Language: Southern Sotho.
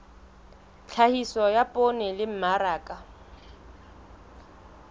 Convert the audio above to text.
tlhahiso ya poone le mmaraka